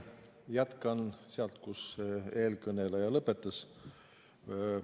Jätkan sealt, kus eelkõneleja lõpetas.